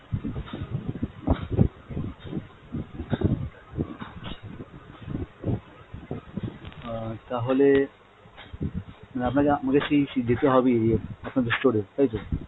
আহ তাহলে মানে আপনাকে আমাকে সেই যেতে হবেই ইয়ে আপনাদের store এ তাই তো?